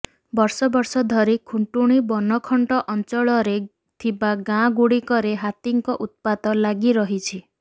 ବର୍ଷ ବର୍ଷ ଧରି ଖୁଂଟୁଣୀ ବନଖଣ୍ଡ ଅଂଚଳରେ ଥିବା ଗାଁ ଗୁଡିକରେ ହାତୀଙ୍କ ଉତ୍ପାତ ଲାଗି ରହିଛି